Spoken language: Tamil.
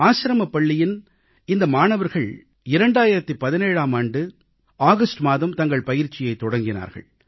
ஆசிரமப் பள்ளியின் இந்த மாணவர்கள் 2017ஆம் ஆண்டு ஆகஸ்ட் மாதம் தங்கள் பயிற்சியைத் தொடங்கினார்கள்